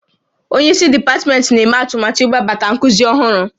Onye isi dipatmentị na-eme atụmatụ iwebata nkuzi ọhụrụ